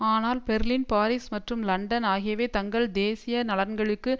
ஆனால் Berlin Paris மற்றும் London ஆகியவை தங்கள் தேசிய நலன்களுக்கு